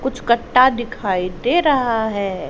कुछ कट्टा दिखाई दे रहा है।